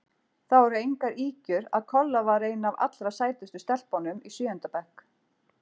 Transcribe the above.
Það voru engar ýkjur að Kolla var ein af allra sætustu stelpunum í sjöunda bekk.